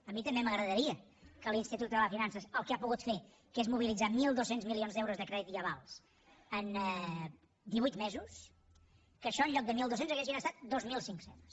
a mi també m’agradaria que l’institut català de finances el que ha pogut fer que és mobilitzar mil dos cents milions d’euros de crèdit i avals en divuit mesos que això en lloc de mil dos cents haguessin estat dos mil cinc cents